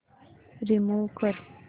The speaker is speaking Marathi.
रिमूव्ह कर